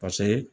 Paseke